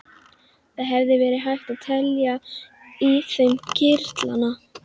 Það hefði verið hægt að telja í þeim kirtlana.